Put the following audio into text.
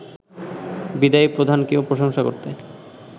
বিদায়ী প্রধানকেও প্রশংসা করতে